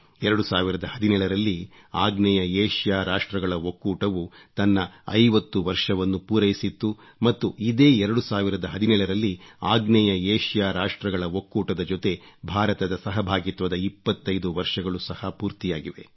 2017 ರಲ್ಲಿ ಆಗ್ನೇಯ ಏಷ್ಯಾ ರಾಷ್ಟ್ರಗಳ ಒಕ್ಕೂಟವು ತನ್ನ 50 ವರ್ಷವನ್ನು ಪೂರೈಸಿತು ಮತ್ತು ಇದೇ 2017 ರಲ್ಲಿ ಆಗ್ನೇಯ ಏಷ್ಯಾ ರಾಷ್ಟ್ರಗಳ ಒಕ್ಕೂಟದ ಜೊತೆ ಭಾರತದ ಸಹಭಾಗಿತ್ವದ 25 ವರ್ಷಗಳು ಸಹ ಪೂರ್ತಿಯಾಗಿವೆ